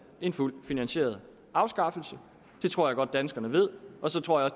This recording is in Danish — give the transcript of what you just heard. en fuldt finansieret afskaffelse det tror jeg godt danskerne ved og så tror jeg